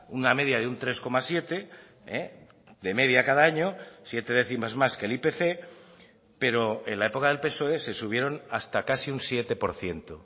una media de un tres coma siete de media cada año siete décimas más que el ipc pero en la época del psoe se subieron hasta casi un siete por ciento